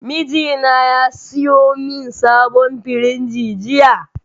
Mijina ya siyo min sabon firinji jiya